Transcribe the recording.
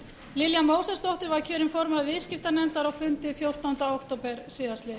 lilja mósesdóttir var kjörin formaður viðskiptanefndar á fundi fjórtánda október síðastliðinn